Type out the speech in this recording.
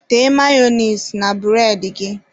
Tee mayonise na bụredị gị.